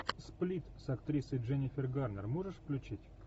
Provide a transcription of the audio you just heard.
сплит с актрисой дженнифер гарнер можешь включить